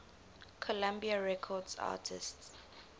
columbia records artists